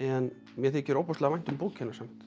en mér þykir ofboðslega vænt um bókina samt